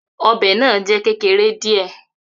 Obe naa jẹ kekere diẹ.